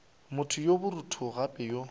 motho yo borutho gape yo